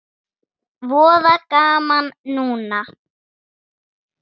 Voða gaman núna.